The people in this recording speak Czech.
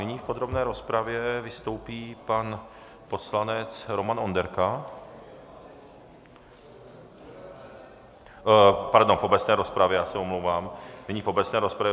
Nyní v podrobné rozpravě vystoupí pan poslanec Roman Onderka... pardon, v obecné rozpravě, já se omlouvám... nyní v obecné rozpravě.